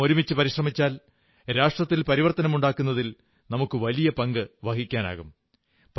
നാം ഒരുമിച്ചു പരിശ്രമിച്ചാൽ രാഷ്ട്രത്തിൽ പരിവർത്തനമുണ്ടാക്കുന്നതിൽ നമുക്കു വലിയ പങ്കു വഹിക്കാനാകും